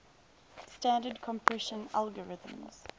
standard compression algorithms